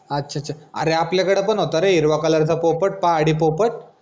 अच्छा अच्छा अरे आपल्याकडं पन होता रे हिरव्या color चा पोपट पहाडी पोपट